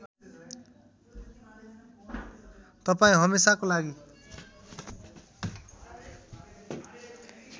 तपाईँ हमेसाको लागि